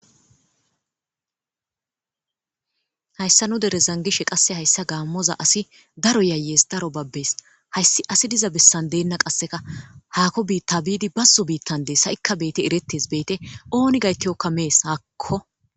Hayssa nu dere zangishe qasse hayssa gaammoza asi daro yayes daro babbes hayssi asi diza bessan deenna qasseka haako biitta biidi bazso biittan dees ha'ikka beete erettes beete ooni gaytiyokka mees hakko